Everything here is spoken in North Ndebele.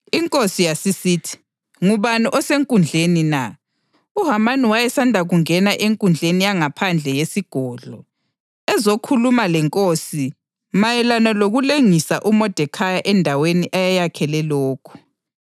Inkosi yasisithi, “Ngubani osenkundleni na?” UHamani wayesanda kungena enkundleni yangaphandle yesigodlo ezokhuluma lenkosi mayelana lokulengisa uModekhayi endaweni ayeyakhele lokho.